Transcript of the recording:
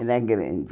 Era grande.